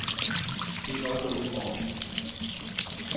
Kik også ude i gården.